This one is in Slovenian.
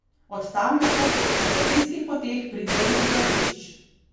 Od tam lahko po inštalacijskih poteh pridejo do bivališč.